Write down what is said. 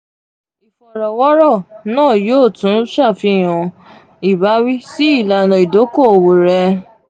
ifọrọwọrọ naa yoo tun ṣafihan um ibawi si ilana idoko-owo rẹ.